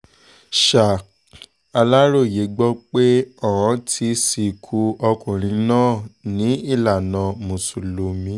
ṣà aláròye gbọ́ pé ọ́n ti sìnkú ọkùnrin náà ní ìlànà mùsùlùmí